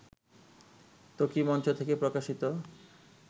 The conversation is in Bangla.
ত্বকী মঞ্চ থেকে প্রকাশিত